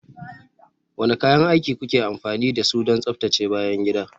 Wane kayan aiki kuke amfani da su don tsaftace bayan gida?